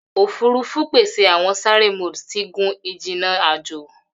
Ofurufu pese awọn sare mode ti gun-ijinna ajo.